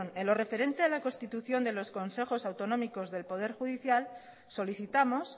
en lo referente a la constitución de los consejos autonómicos del poder judicial solicitamos